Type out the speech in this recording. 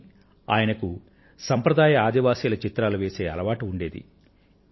కానీ ఆయనకు సాంప్రదాయ ఆదివాసిల చిత్రాలు వేసే అలవాటు ఉండేది